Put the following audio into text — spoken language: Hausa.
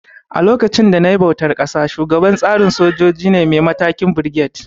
A lokacin da nayi bautar ƙasa, shugaban tsarin soja ne mai matakin Birget